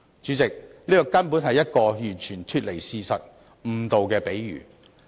主席，這根本是完全脫離事實和誤導市民的比喻。